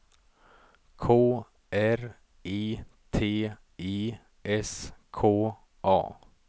K R I T I S K A